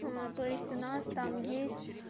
аа то есть у нас там есть